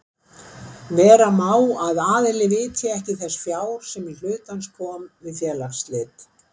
Vera má að aðili vitji ekki þess fjár sem í hlut hans kom við félagsslit.